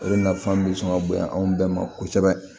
O de nafa bɛ sɔn ka bonya anw bɛɛ ma kosɛbɛ